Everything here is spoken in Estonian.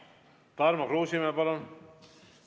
Tarmo Kruusimäe, palun!